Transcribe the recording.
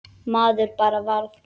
Maður bara varð